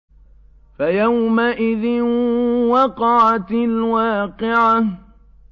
فَيَوْمَئِذٍ وَقَعَتِ الْوَاقِعَةُ